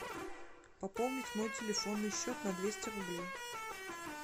пополнить мой телефонный счет на двести рублей